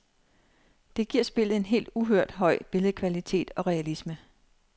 Det giver spillet en helt uhørt høj billedkvalitet og realisme.